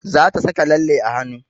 Za ta saka lalle a hanu